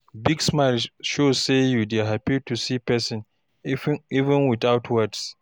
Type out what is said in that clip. Big smile dey show sey you hapi to see persin, even witout words.